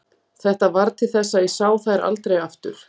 Þetta varð til þess að ég sá þær aldrei aftur.